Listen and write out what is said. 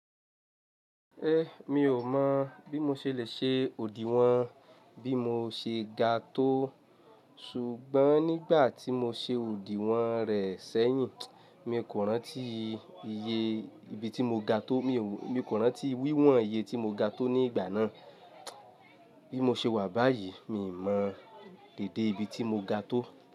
Eh, mi ò mọ̀ bí mo ṣe lè ṣe òdì wọ́n bí mo ṣe ga tó. Ṣùgbọ́n nígbà tí mo ṣe òdì wọ́n rẹ̀ sẹ́yìn, mi kò rántí iye ibi tí mo ga tó. Mi kò rántí wíwọ̀n iye tí mo ga tó ní ìgbà náà. Bí mo ṣe wà báyìí, mi ò mọ̀ déédé ibi tí mo ga tó.